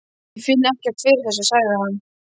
Ég finn ekkert fyrir þessu, sagði hann.